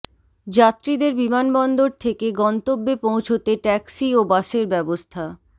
যাত্রীদের বিমানবন্দর থেকে গন্তব্যে পৌঁছতে ট্যাক্সি ও বাসের ব্যবস্থা